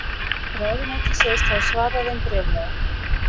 Ráðuneytið segist hafa svarað þeim bréflega